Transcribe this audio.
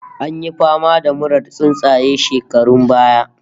An yi fama da murar tsuntsaye shekarun baya